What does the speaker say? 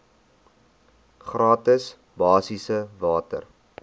gratis basiese water